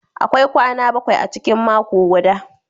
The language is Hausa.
Akwai kwana bakwai a cikin mako guda.